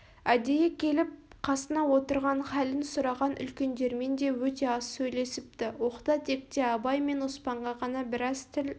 әдейі келіп қасына отырып халін сұраған үлкендермен де өте аз сәйлесіпті оқта-текте абай мен оспанға ғана біраз тіл